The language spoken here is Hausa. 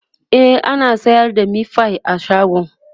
e ana sayar da meatfie a shagon